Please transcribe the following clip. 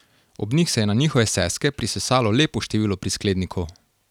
Ob njih se je na njihove seske prisesalo lepo število prisklednikov.